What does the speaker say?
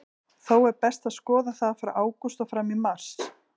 Þó er best að skoða það frá ágúst og fram í mars.